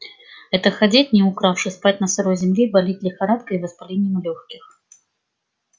это ходить не укравши спать на сырой земле и болеть лихорадкой и воспалением лёгких